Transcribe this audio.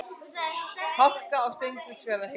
Hálka á Steingrímsfjarðarheiði